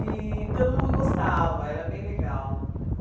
E todo mundo gostava, era bem legal.